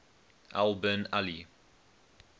al bin ali